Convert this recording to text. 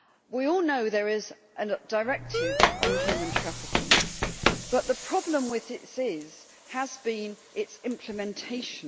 We all know there is a directive on human trafficking, but the problem with this has been its implementation.